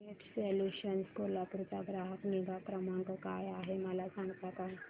I net solutions Kolhapur चा ग्राहक निगा क्रमांक काय आहे मला सांगता का